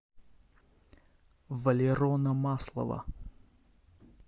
валерона маслова